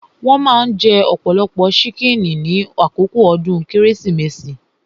Wón maa ń jẹ ọ̀pọ̀lọpọ̀ ṣíkìnnì ní àkókò ọdún Kérésìmesì